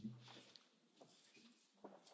President, honourable Members,